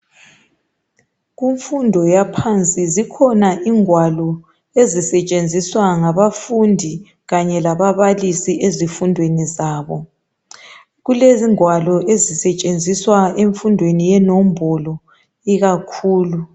Kumfundo yaphansi zikhona ingwalo ezisetshenziswa ngabafundi kanye lababalisi ezifundweni zabo. Kulengwalo ezisetshenziswa emfundweni yenombolo, ikakhulu.